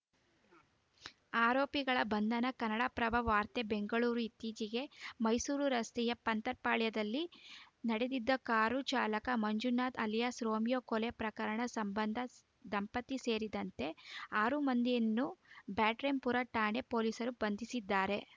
ಆರೋಪಿಗಳ ಬಂಧನ ಕನ್ನಡಪ್ರಭ ವಾರ್ತೆ ಬೆಂಗಳೂರು ಇತ್ತೀಚಿಗೆ ಮೈಸೂರು ರಸ್ತೆಯ ಪಂತರ್‌ಪಾಳ್ಯದಲ್ಲಿ ನಡೆದಿದ್ದ ಕಾರು ಚಾಲಕ ಮಂಜುನಾಥ್‌ ಅಲಿಯಾಸ್‌ ರೋಮಿಯೋ ಕೊಲೆ ಪ್ರಕರಣ ಸಂಬಂಧ ದಂಪತಿ ಸೇರಿದಂತೆ ಆರು ಮಂದಿಯನ್ನು ಬ್ಯಾಟರಾಯನಪುರ ಠಾಣೆ ಪೊಲೀಸರು ಬಂಧಿಸಿದ್ದಾರೆ